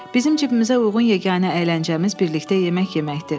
Bizim cibimizə uyğun yeganə əyləncəmiz birlikdə yemək yeməkdir.